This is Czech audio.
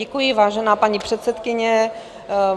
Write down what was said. Děkuji, vážená paní předsedkyně.